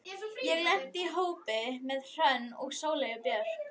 Ég lenti í hópi með Hrönn og Sóleyju Björk.